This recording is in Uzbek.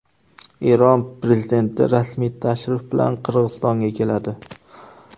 Eron prezidenti rasmiy tashrif bilan Qirg‘izistonga keladi.